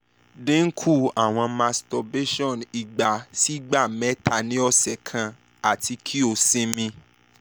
dinku awọn masturbation igba si igba mẹta ni ọsẹ kan ati ki o sinmi